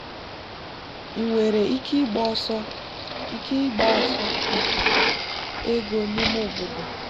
ị nwere ike ịgba ọsọ ike ịgba ọsọ maka ego n'ime obodo.